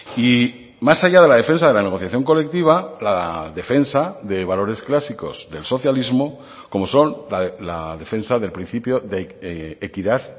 y más allá de la defensa de la negociación colectiva la defensa de valores clásicos del socialismo como son la defensa del principio de equidad